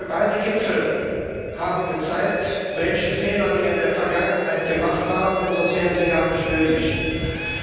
Beide Gipfel haben gezeigt, welche Fehler wir in der Vergangenheit gemacht haben, denn sonst wären sie gar nicht nötig gewesen.